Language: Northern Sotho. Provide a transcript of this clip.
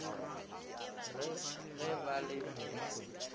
re ge ba le madišong